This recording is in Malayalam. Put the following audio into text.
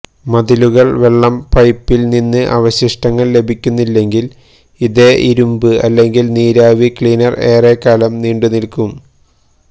മതിലുകൾക്ക് വെള്ളം പൈപ്പിൽ നിന്ന് അവശിഷ്ടങ്ങൾ ലഭിക്കുന്നില്ലെങ്കിൽ അതേ ഇരുമ്പ് അല്ലെങ്കിൽ നീരാവി ക്ലീനർ ഏറെക്കാലം നീണ്ടുനിൽക്കും